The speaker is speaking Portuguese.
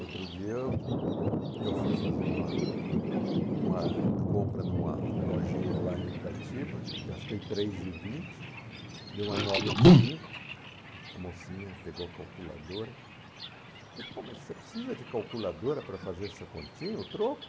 Outro dia eu eu fui fazer uma uma compra numa lojinha lá em Itatiba, gastei três e vinte, dei uma nota de cinco, a mocinha pegou a calculadora, disse, pô, mas você precisa de calculadora para fazer essa continha, o troco?